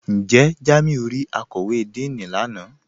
Njẹ́ Jàmíù rí àkọ́wé Díìní lánà?